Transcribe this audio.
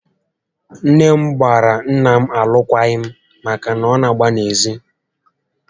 Nné m gbara nnà m alụkwaghị m màkà na ọ nà agba n'ezi